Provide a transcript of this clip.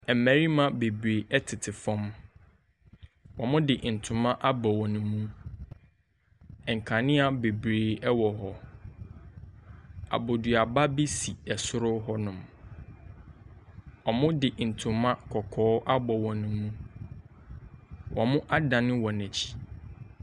Mmarima bebree tete fam, wɔde ntoma abɔ wɔn mu, nkanea bebree wɔ hɔ, aboduaba bi si soro hɔnom, wɔde ntoma kɔkɔɔ abɔ wɔn mu. Wɔadane wɔn mu.